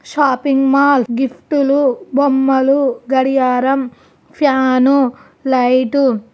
shopping mall gift లు బొమ్మలు గడియారం ఫ్యాను లైటు --